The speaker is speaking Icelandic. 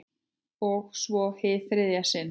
Og svo- hið þriðja sinn.